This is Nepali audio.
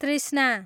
तृष्णा